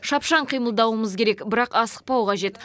шапшаң қимылдауымыз керек бірақ асықпау қажет